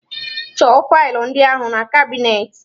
Chọọ faịlụ ndị ahụ na kabinetị.